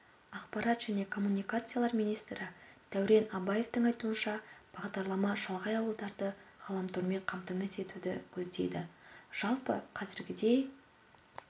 ақпарат және коммуникациялар министрі дәурен абаевтың айтуынша бағдарлама шалғай ауылдарды ғаламтормен қамтамасыз етуді көздейді жалпы қазіргідей